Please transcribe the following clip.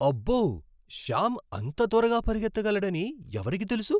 అబ్బో! శ్యామ్ అంత త్వరగా పరుగెత్తగలడని ఎవరికి తెలుసు?